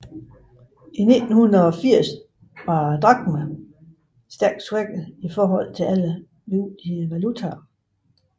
I 1980 var drakmen stærkt svækket i forhold til alle vigtige valutaer